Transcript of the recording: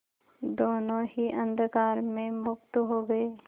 दोेनों ही अंधकार में मुक्त हो गए